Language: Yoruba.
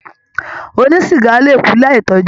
Ònísiga le ku láì to ọjọ.